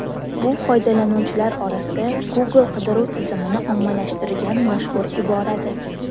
Bu foydalanuvchilar orasida Google qidiruv tizimini ommalashtirgan mashhur iboradir.